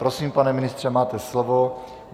Prosím, pane ministře, máte slovo.